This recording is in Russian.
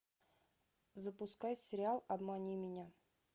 запускай сериал обмани меня